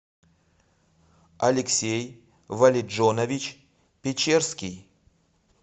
алексей валеджонович печерский